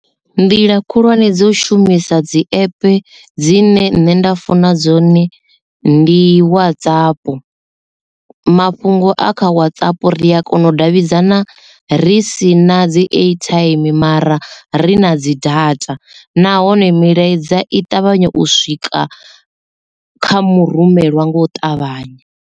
Nḓila khulwane dzo shumisa dzi app dzine nṋe nda funa dzone ndi WhatsApp mafhungo a kha WhatsApp ri a kona u davhidzana ri si na dzi airtime mara ri na dzi data nahone milaedza i ṱavhanya u swika kha murumeliwa nga u ṱavhanya.